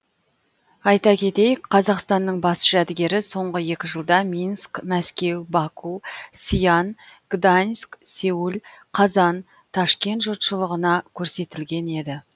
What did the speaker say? айта кетейік қазақстанның бас жәдігері соңғы екі жылда минск мәскеу баку сиан гданьск сеул қазан ташкент жұртшылығына көрсетілген еді